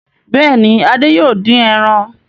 Bẹ́ẹ̀ ni, Adé yóò dín ẹran.